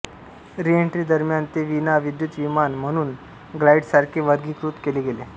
re-entry दरम्यान ते विना विद्युत विमान म्हणून ग्लाइडरसारखे वर्गीकृत केले गेले